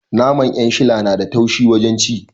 Naman 'yanshila na da taushe wajen ci